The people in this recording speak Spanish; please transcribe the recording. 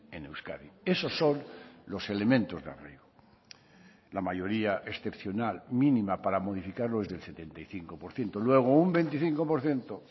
en euskadi esos son los elementos de arraigo la mayoría excepcional mínima para modificar lo del setenta y cinco por ciento luego un veinticinco por ciento